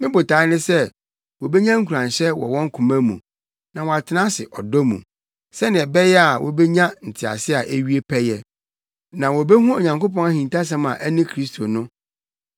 Me botae ne sɛ wobenya nkuranhyɛ wɔ wɔn koma mu, na wɔatena ase ɔdɔ mu, sɛnea ɛbɛyɛ a wobenya ntease a ewie pɛyɛ. Na wobehu Onyankopɔn ahintasɛm a ɛne Kristo no.